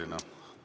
Aitäh!